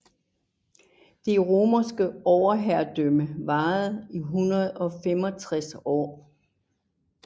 Det romerske overherredømme varede i 165 år